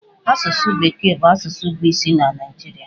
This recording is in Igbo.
Asụsụ bekee bụ asụsụ bụ isi na Naịjirịa.